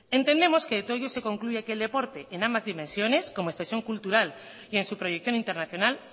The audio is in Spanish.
entendemos que de todo ello se concluye que el deporte en ambas dimensiones como expresión cultural y en su proyección internacional